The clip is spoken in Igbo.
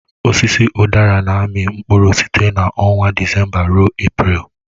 Osisi udara na-amị mkpụrụ site na ọnwa Disemba ruo Eprelu.